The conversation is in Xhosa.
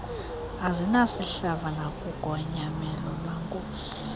azinasihlava nalugonyamelo lwankosi